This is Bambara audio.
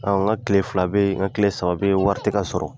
An ka tile fila bɛ yen an ka tile saba bɛ yen wari ti ka sɔrɔ.